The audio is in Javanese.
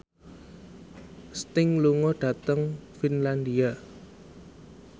Sting lunga dhateng Finlandia